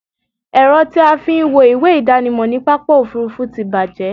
Ẹ̀rọ tí a fí ń wo ìwé ìdánimọ̀ ní pápá òfurufú ti bàjẹ́